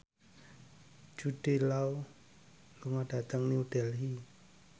Jude Law lunga dhateng New Delhi